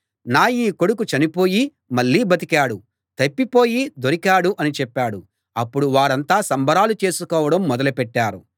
నా ఈ కొడుకు చనిపోయి మళ్ళీ బతికాడు తప్పిపోయి దొరికాడు అని చెప్పాడు అప్పుడు వారంతా సంబరాలు చేసుకోవడం మొదలు పెట్టారు